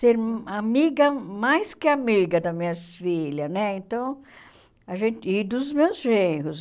ser amiga, mais que amiga, da minhas filhas né então a gente e dos meus genros.